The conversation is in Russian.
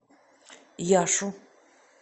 яшу